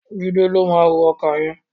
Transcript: Jídé ló máa ró ọkà yẹn.